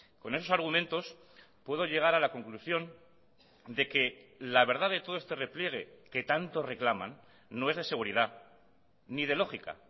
con esos argumentos puedo llegar a la conclusión de que la verdad de todo este repliegue que tanto reclaman no es de seguridad ni de lógica